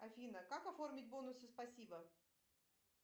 афина как оформить бонусы спасибо